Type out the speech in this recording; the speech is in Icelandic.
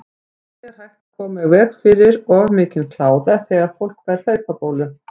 Hvernig er hægt að koma í veg fyrir of mikinn kláða þegar fólk fær hlaupabólu?